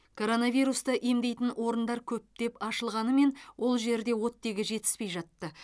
коронавирусты емдейтін орындар көптеп ашылғанымен ол жерде оттегі жетіспей жатты